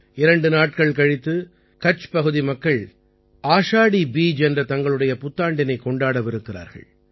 இரண்டு நாட்கள் கழித்து கட்ச்பகுதி மக்கள் ஆஷாடீ பீஜ் என்ற தங்களுடைய புத்தாண்டினைக் கொண்டாடவிருக்கிறார்கள்